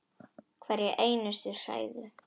Hverja einustu hræðu!